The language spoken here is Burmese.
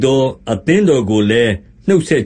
သော အသင်းတော် ကိုလည်းနှုတ်ဆက်